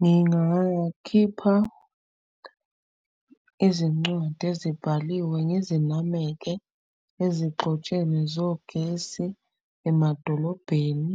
Ngingakhipha izincwadi ezibhaliwe ngizinameke ezigxotsheni zogesi, emadolobheni,